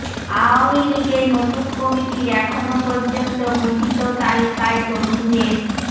আওয়ামী লীগের নতুন কমিটির এখন পর্যন্ত ঘোষিত তালিকায় তরুণদের